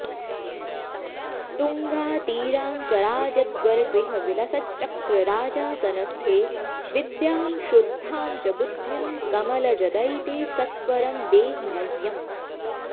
तुङ्गातीराङ्कराजद्वरगृहविलसच्चक्रराजासनस्थे विद्यां शुद्धां च बुद्धिं कमलजदयिते सत्वरं देहि मह्यम्